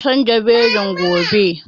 Za mu kalla wasan jabelin gobe